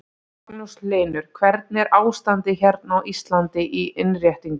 Magnús Hlynur: Hvernig er ástandið hérna á Íslandi í innréttingum?